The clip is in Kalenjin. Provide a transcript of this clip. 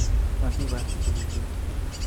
Motibarte tugukuk